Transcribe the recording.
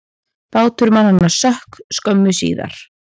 Bátur mannanna sökk skömmu síðar.